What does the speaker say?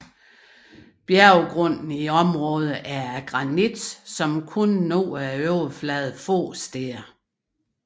Bjergrunden i området er af granit som kun når overfladen kun få steder